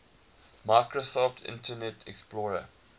microsoft internet explorer